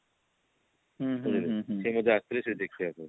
ବୁଝିଲେ ସେ ବୋଧେ ଆସିଥିଲେ ଦେଖିବା ପାଇଁ